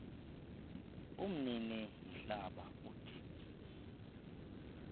umnini mhlaba uthi